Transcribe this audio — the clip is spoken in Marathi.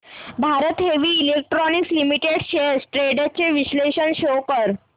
Bharat heavy electricals limited shares trends चे विश्लेषण शो कर